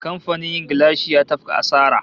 Kamfanin yin gilashi ya tafka asara